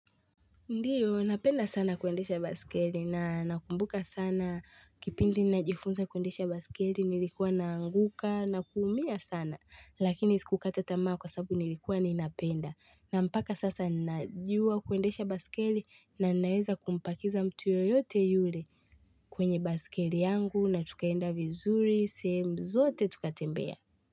Ndiyo, napenda sana kuendesha baiskeli na nakumbuka sana kipindi najifunza kuendesha baiskeli nilikuwa naanguka na kuumia sana lakini sikukata tamaa kwa sababu nilikuwa ninapenda na mpaka sasa najua kuendesha baiskeli na naweza kumpakiza mtu yoyote yule kwenye baiskeli yangu na tukaenda vizuri sehemu zote tukatembea.